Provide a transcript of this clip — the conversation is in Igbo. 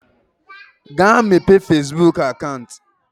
Gaa mepee fezbuk akant!